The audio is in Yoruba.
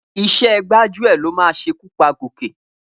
Iṣẹ́ gbájúẹ̀ ló máa ṣekú pa Gòkè.